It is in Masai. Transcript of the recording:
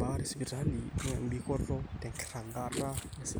baare esipitali naa embikoto tenkiragata esipitali